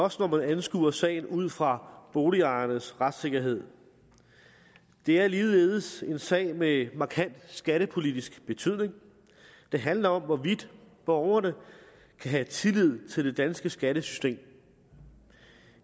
også når man anskuer sagen ud fra boligejernes retssikkerhed det er ligeledes en sag med en markant skattepolitisk betydning det handler om hvorvidt borgerne kan have tillid til det danske skattesystem